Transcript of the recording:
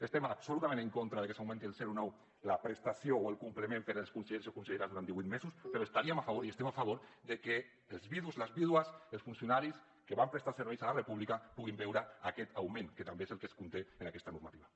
estem absolutament en contra de que s’augmenti el zero coma nou la prestació o el complement per als consellers i conselleres durant divuit mesos però estaríem a favor i estem a favor de que els vidus les vídues els funcionaris que van prestar serveis a la república puguin veure aquest augment que també és el que es conté en aquesta normativa